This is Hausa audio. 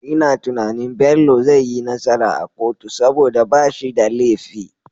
Ina tunanin Bello zai yi nasara a kotu saboda bashi da lefi